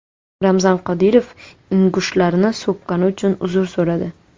Ramzan Qodirov ingushlarni so‘kkani uchun uzr so‘radi.